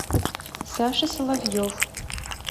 саша соловьев